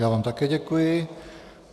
Já vám také děkuji.